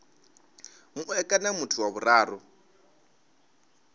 mue kana muthu wa vhuraru